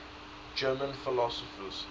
german philosophers